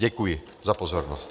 Děkuji za pozornost.